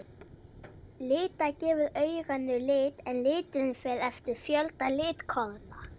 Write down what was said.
Lita gefur auganu lit en liturinn fer eftir fjölda litkorna.